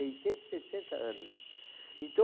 e sessenta anos. Então,